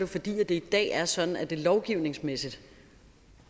fordi det i dag er sådan at det lovgivningsmæssigt